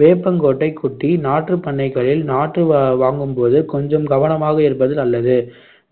வேப்பங்கொட்டை குட்டி நாற்றுப் பண்ணைகளில் நாற்று வா~ வாங்கும்போது கொஞ்சம் கவனமாக இருப்பது நல்லது